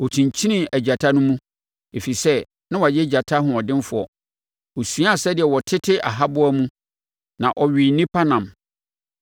Ɔkyinkyinii agyata no mu ɛfiri sɛ na wayɛ gyata hoɔdenfoɔ. Ɔsuaa sɛdeɛ wɔtete ahaboa mu na ɔwee nnipa nam.